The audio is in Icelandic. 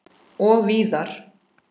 Og víðar.